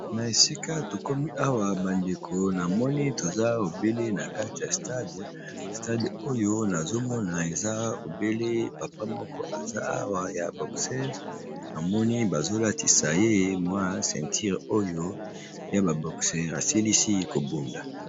Na esika tokomi awa bandeko namoni toza obele na kati ya stade, stade oyo nazomona eza obele papa moko aza awa ya boxere, namoni bazolatisa ye mwa ceinture oyo ya ba boxere asilisi kobunda.